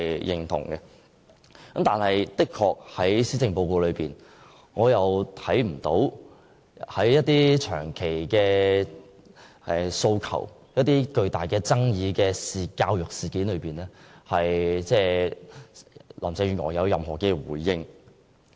然而，林鄭月娥的施政報告中，對一些長期訴求及極具爭議的教育事件，卻未有任何回應。